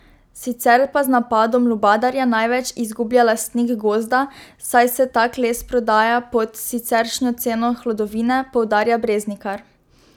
Sicer pa z napadom lubadarja največ izgublja lastnik gozda, saj se tak les prodaja pod siceršnjo ceno hlodovine, poudarja Breznikar.